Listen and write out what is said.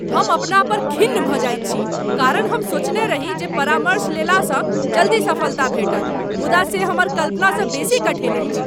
हम अपना पर खिन्न भऽ जाइत छी कारण हम सोचने रही जे परामर्श लेलासँ जल्दी सफलता भेटत मुदा से हमर कल्पनासँ बेसी कठिन अछि।